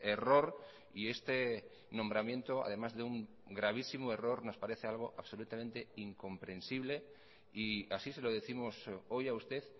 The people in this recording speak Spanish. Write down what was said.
error y este nombramiento además de un gravísimo error nos parece algo absolutamente incomprensible y así se lo décimos hoy a usted